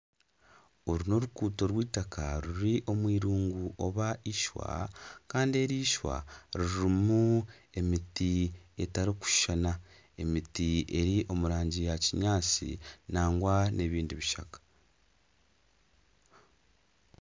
Oru n'oruguuto rw'itaaka ruri omwirungu nari ishwa kandi eri ishwa ririmu emiti etarikushuushana emiti eri omu rangi ya kinyaatsi nagwa n'ebindi bishaka.